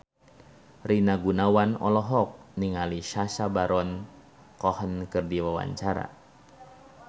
Rina Gunawan olohok ningali Sacha Baron Cohen keur diwawancara